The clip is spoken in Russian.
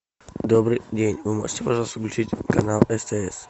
добрый день вы можете пожалуйста включить канал стс